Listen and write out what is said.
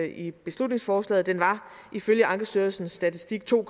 i beslutningsforslaget den var ifølge ankestyrelsens statistik to